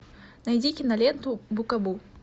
найди киноленту букабу